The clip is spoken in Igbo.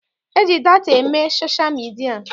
E ji data eme sosha midia.